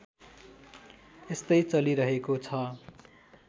यस्तै चलिरहेको छ